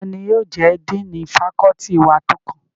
Tani yóò jẹ́ díìnì fakọ́ọ́tì wa tó kàn?